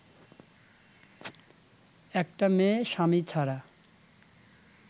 একটা মেয়ে স্বামী ছাড়া